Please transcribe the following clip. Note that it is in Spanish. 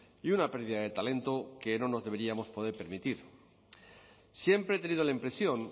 y una pérdida de talento que no nos deberíamos poder permitir siempre he tenido la impresión